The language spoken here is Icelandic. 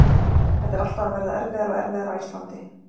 Þetta er alltaf að verða erfiðara og erfiðara á Íslandi.